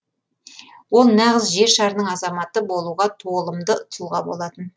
ол нағыз жер шарының азаматы болуға толымды тұлға болатын